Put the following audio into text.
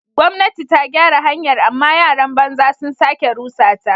Gwamnati ta gyara hanyar amma yaran banza sun sake rusa ta.